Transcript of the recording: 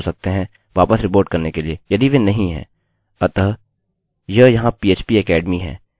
मैं मान लेता हूँ कि सब कुछ ठीक है और चलिए रेफ्रिशrefresh करते हैं